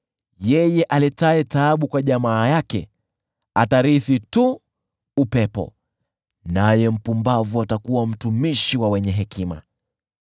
Yeye aletaye taabu kwa jamaa yake atarithi tu upepo, naye mpumbavu atakuwa mtumishi wa wenye hekima.